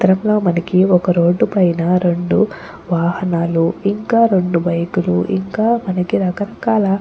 ఈ చిత్రంలో మనకి ఒక రోడ్డు పైన రెండు వాహనాలు ఇంకా రెండు బైకు లు ఇంకా మనకి రకరకాల--